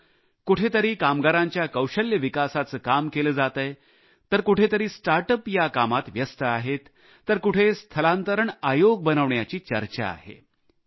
जसे कुठे कामगारांच्या कौशल्य विकासाचे काम केले जात आहे तर कुठे स्टार्टअप या कामात व्यस्त आहेत तर कुठे स्थलांतरण आयोग बनविण्याची चर्चा आहे